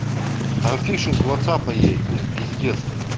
там фишинг ватсапа есть блять пиздец нахуй